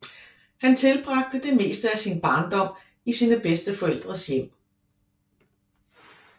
Han tilbragte det meste af sin barndom i sine bedsteforældres hjem